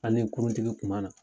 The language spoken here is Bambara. An ni kuruntigi kuma na.